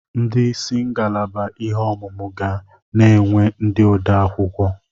Ndị isi ngalaba ihe ọmụmụ ga na-enwe ndị odeakwụkwọ.